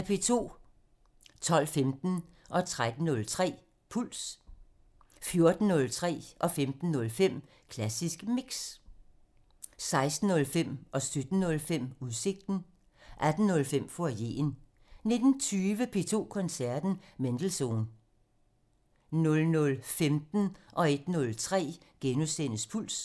12:15: Puls 13:03: Puls 14:03: Klassisk Mix (Afs. 250) 15:03: Klassisk Mix (Afs. 250) 16:05: Udsigten (Afs. 225) 17:05: Udsigten (Afs. 225) 18:05: Foyeren (Afs. 90) 19:20: P2 Koncerten – Mendelssohn (Afs. 227) 00:15: Puls * 01:03: Puls *